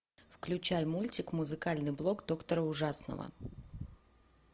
включай мультик музыкальный блог доктора ужасного